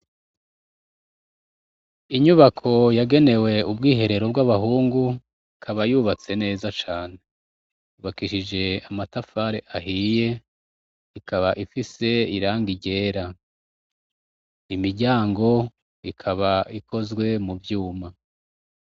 Inyubako yagenewe ubwiherero bw'abahungu, ikaba yubatse neza cane. Yubakishije amatafari ahiye, ikaba ifise irangi ryera. Imiryango ikaba ikozwe mu vyuma.